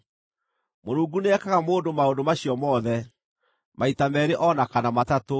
“Mũrungu nĩekaga mũndũ maũndũ macio mothe, maita meerĩ o na kana matatũ,